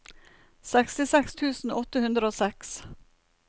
sekstiseks tusen åtte hundre og seks